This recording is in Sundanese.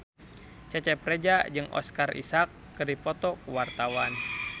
Cecep Reza jeung Oscar Isaac keur dipoto ku wartawan